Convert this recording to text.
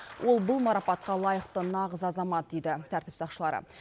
ол бұл марапатқа лайықты нағыз азамат дейді тәртіп сақшылары